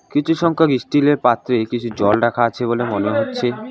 কিছু সংখ্যক ইস্টিলের পাত্রে কিছু জল রাখা আছে বলে মনে হচ্ছে।